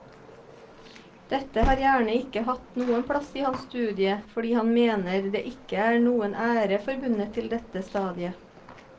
Dette har gjerne ikke hatt noen plass i hans studie fordi han mener det ikke er noen ære forbundet til dette stadiet.